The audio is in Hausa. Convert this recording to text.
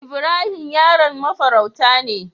Ibrahim yaron mafarauta ne.